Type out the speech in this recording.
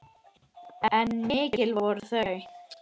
En mikil voru þau.